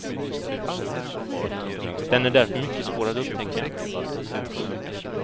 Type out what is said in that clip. Den är därför mycket svår att upptäcka.